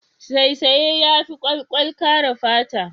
Saisaye yafi kwalkwal kare fata.